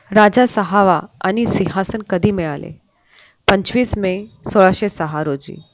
राजा सहावा आणि सिंहासन कधी मिळाले पंचवीस मे सोळाशे सहा रोजी